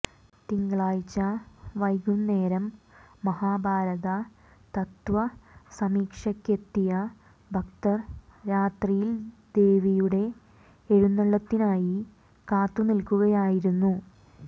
തിങ്കളാഴ്ച വൈകുന്നേരം മഹാഭാരത തത്ത്വസമീക്ഷയ്ക്കെത്തിയ ഭക്തർ രാത്രിയിൽ ദേവിയുടെ എഴുന്നള്ളത്തിനായി കാത്തുനിൽക്കുകയായിരുന്നു